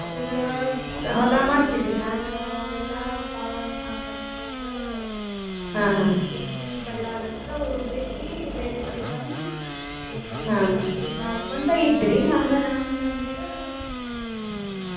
ಅವ್ರ ಹೊಲಾ ಮಾಡ್ತಿದ್ರರೀ ಆದ್ರ ಅವಾಗೆಲ್ಲಾ ಮಳಿ ಬರ್ಲಾರಕ್ಕ ಅವ್ರ ಬಿಟ್ಟು ಬೇರೆ ಕಡೆ ಬಂದು ಈಗ ನೌಕ್ರಿ ಮಾಡ್ಕೊಂತ ಇದ್ದರೀ ಹಂಗ ನಮ ತಂದೆಯವ್ರ ಅವ್ರು ನೌಕ್ರಿ.